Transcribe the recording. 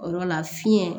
O yɔrɔ la fiɲɛ